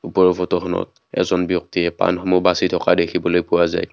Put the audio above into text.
ওপৰৰ ফটোখনত এজন ব্যক্তিয়ে পাণসমূহ বাচি থকা দেখিবলৈ পোৱা যায়।